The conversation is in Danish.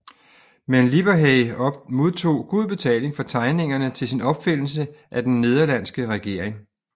Men Lipperhey modtog god betaling for tegningerne til sin opfindelse af den nederlandske regering